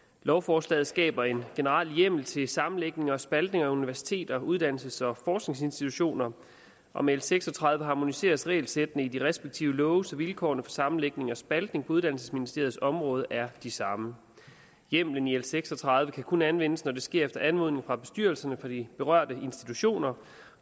lovforslaget skaber en generel hjemmel til sammenlægning og spaltning af universiteter uddannelses og forskningsinstitutioner og med l seks og tredive harmoniseres regelsættene i de respektive love så vilkårene for sammenlægning og spaltning på uddannelsesministeriets område er de samme hjemmelen i l seks og tredive kan kun anvendes når det sker efter anmodning fra bestyrelserne for de berørte institutioner